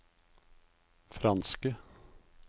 franske